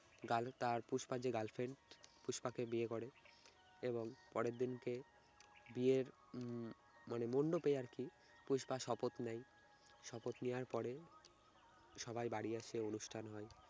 গাল~ তার পুষ্পার যে girlfriend পুষ্পাকে বিয়ে করে এবং পরের দিন কে বিয়ের উম মানে মন্ডপে আর কি পুষ্পা শপথ নেয় শপথ নেয়ার পরে সবাই বাড়ি আসে অনুষ্ঠান হয়।